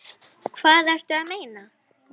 Hvað ertu að meina?